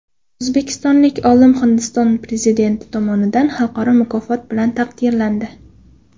O‘zbekistonlik olim Hindiston prezidenti tomonidan xalqaro mukofot bilan taqdirlandi.